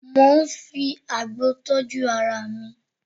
Mo ń fi àgbo tọ́jú ara mi